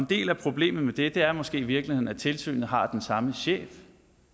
del af problemet med det er måske i virkeligheden at tilsynet har den samme chef